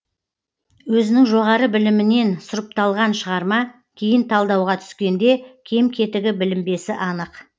өзінің жоғары білімінен сұрыпталған шығарма кейін талдауға түскенде кем кетігі білінбесі анық